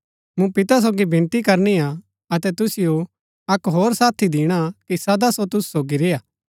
मूँ पिता सोगी विनती करनी हा अतै तुसिओ अक्क होर साथी दिणा कि सदा सो तुसु सोगी रेय्आ